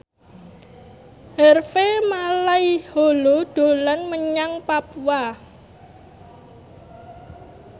Harvey Malaiholo dolan menyang Papua